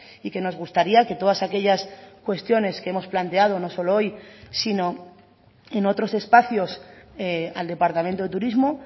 y que nos gustaría que todas aquellas cuestiones que hemos planteado no solo hoy sino en otros espacios al departamento de turismo